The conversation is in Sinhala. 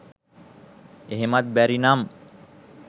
එහෙමත් බැරි නම්